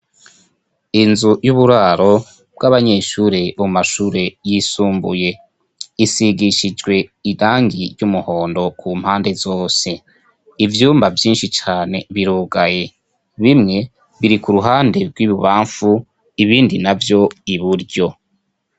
Inzu y'uburaro bw'abanyeshure bo mumashure yisumbuye isigishijwe irangi ry'umuhondo ku mpande zose. Ivyumba vyinshi cane irugaye. Bimwe biri ku ruhande rw'ibubamfu ibindi navyo I buryo.